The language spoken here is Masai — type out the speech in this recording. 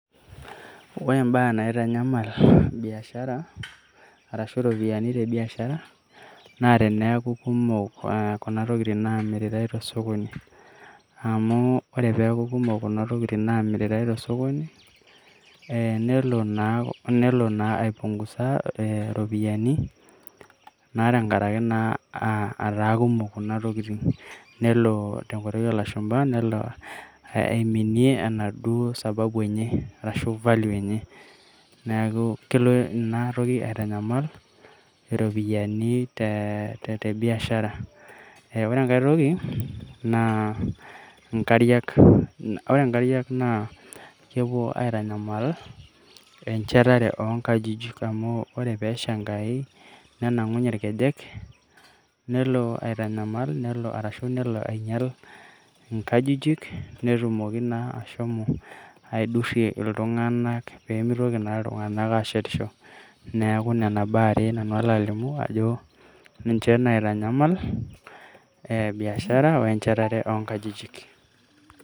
Ore imbaa naitanyamal biashara, arashu ropiyaiani tebiashara, naa teneeku kumok kuna tokiting namiritai tosokoni. Amu ore peeku kumok kuna tokiting namiritai tosokoni, eh nelo naa aipungusa iropiyiani, na tankaraki naa etaa kumok kuna tokiting'. Nelo tenkoitoi olashumpa aiminie enaduo sababu enye, arashu value enye. Neeku kelo ina toki aitanyamal iropiyiani tebiashara. Eh ore enkae toki, naa inkariak. Ore nkariak naa kepuo aitanyamal enchetare onkajijik, amu ore pesha enkai, nenang'unye irkejek, nelo aitanyamal ashu nelo ainyal inkajijik, netumoki naa ashomo aidurrie iltung'anak pemitoki naa iltung'anak ashetisho. Neeku nena baa are nanu alo alimu ajo ninche naitanyamal biashara, wenchetare onkajijik.